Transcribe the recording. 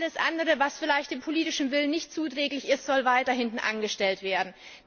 Alles andere, was vielleicht dem politischen Willen nicht zuträglich ist, soll weiter hintangestellt werden.